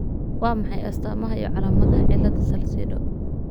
Waa maxay astamaha iyo calaamadaha cilada Salcedo